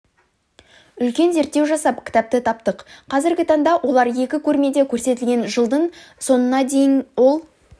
үлкен зерттеу жасап кітапты таптық қазіргі таңда олар екі көрмеде көрсетілген жылдың соңына дейін ол